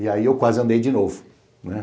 E aí eu quase andei de novo.